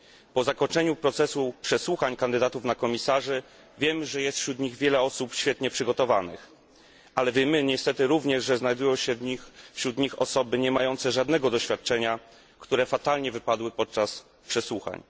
Po zakończeniu procesu przesłuchań kandydatów na komisarzy wiem, że jest wśród nich wiele osób świetnie przygotowanych, ale wiemy niestety również, że znajdują się wśród nich osoby nie mające żadnego doświadczenia, które fatalnie wypadły podczas przesłuchań.